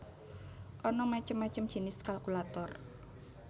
Ana macem macem jinis kalkulator